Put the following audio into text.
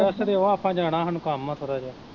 ਦਸ ਦਿਉ ਆਪਾਂ ਜਾਣਾ ਹਾਨੂੰ ਕੰਮ ਆ ਥੋੜਾ ਜਿਹਾ।